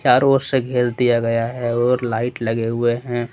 चारो ओर से घेर दिया गया है और लाइट लगे हुए हैं।